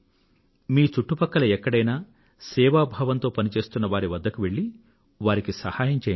మీ చుట్టుపక్కల ఎక్కడైనా సేవాభావంతో పని చేస్తున్న వారి వద్దకి వెళ్ళి వారికి సహాయం చెయ్యండి